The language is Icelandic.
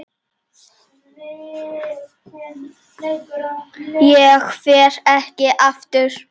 Ég fer ekki aftur.